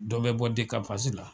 Dɔ bɛ bɔ de ka pasi la.